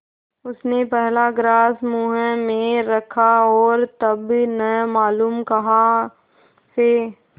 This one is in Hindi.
उसने पहला ग्रास मुँह में रखा और तब न मालूम कहाँ से